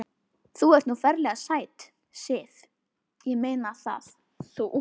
Þú ert nú ferlega sæt, Sif. ég meina það. þú.